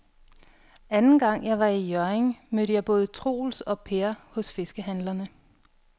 Anden gang jeg var i Hjørring, mødte jeg både Troels og Per hos fiskehandlerne.